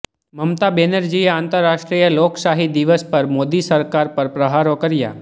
મમતા બેનરજીએ આંતરરાષ્ટ્રીય લોકશાહી દિવસ પર મોદી સરકાર પર પ્રહારો કર્યા